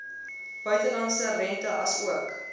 buitelandse rente asook